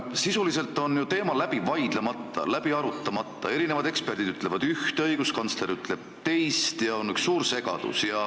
Sisuliselt on teema ju läbi vaidlemata, läbi arutamata, eksperdid ütlevad ühte, õiguskantsler ütleb teist ja on üks suur segadus.